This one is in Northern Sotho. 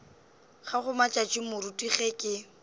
gago matšatši moruti ge ke